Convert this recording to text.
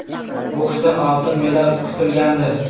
Boksdan oltin medal kutilgandi.